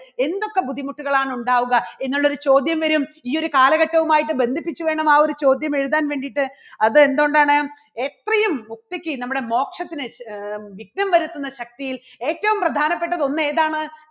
എന്തൊക്കെ ബുദ്ധിമുട്ടുകളാണ് ഉണ്ടാവുക എന്നുള്ളൊരു ചോദ്യം വരും ഈ ഒരു കാലഘട്ടവുമായിട്ട് ബന്ധിപ്പിച്ച് വേണം ആ ഒരു ചോദ്യം എഴുതാൻ വേണ്ടിയിട്ട് അത് എന്തുകൊണ്ടാണ് എത്രയും ഒറ്റയ്ക്ക് നമ്മുടെ മോക്ഷത്തിന് ആ വിഘ്നം വരുത്തുന്നശക്തിയിൽ ഏറ്റവും പ്രധാനപ്പെട്ടത് ഒന്ന് ഏതാണ്